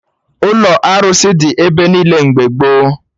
Ụlọ arụsị dị ebe niile mgbe gboo